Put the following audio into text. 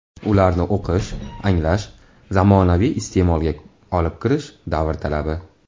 Ularni o‘qish, anglash, zamonaviy iste’molga olib kirish davr talabi.